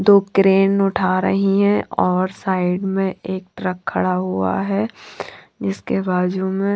दो क्रेन उठा रही है और साइड में एक ट्रक खड़ा हुआ है इसके बाजू में--